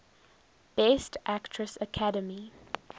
best actress academy